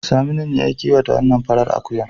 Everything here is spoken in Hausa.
Saminu ne ya kiwata wannan farar akuyar.